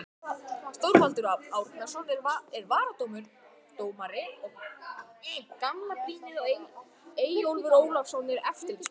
Þorvaldur Árnason er varadómari og gamla brýnið Eyjólfur Ólafsson er eftirlitsmaður.